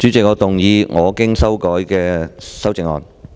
主席，我動議我經修改的修正案。